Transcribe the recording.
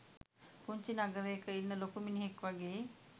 පුංචි නගරයක ඉන්න ලොකු මිනිහෙක් වගේ.